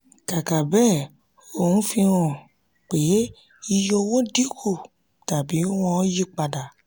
kàkà bẹ́ẹ̀ ohun fi hàn pé iye owó dín kù tàbí wọ́n yí padà.